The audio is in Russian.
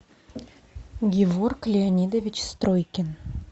геворг леонидович стройкин